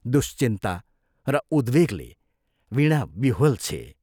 दुश्चिन्ता र उद्वेगले वीणा विह्वल छे।